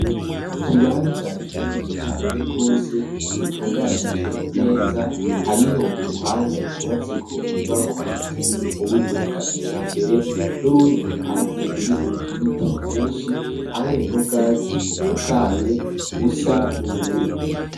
Ikibanza kinini cane gose gitunganije neza. Hariho uruhande rwubatseko inyubakwa ziri mu buryo bwa kijambere nurundi iruhande rurimwo ibiti vyinshi hamwe n'ubwatsi butotahaye busa n'ubururu.